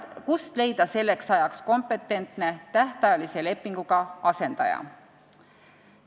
Kust leida selleks ajaks kompetentne, tähtajalise lepinguga asendaja?